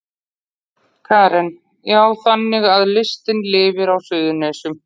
Karen: Já, þannig að listin lifir á Suðurnesjum?